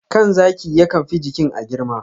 kan zaki yakan fi jikin a girma.